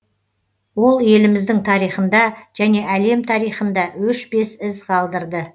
ол еліміздің тарихында және әлем тарихында өшпес із қалдырды